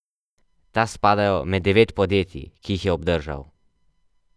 Ta spadajo med devet podjetij, ki jih je obdržal.